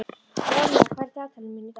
Ronja, hvað er í dagatalinu mínu í dag?